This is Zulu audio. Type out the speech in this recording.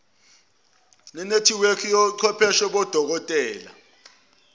nenethiwekhi yochwepheshe bodokotela